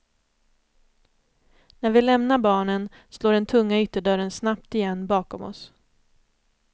När vi lämnar barnen slår den tunga ytterdörren snabbt igen bakom oss.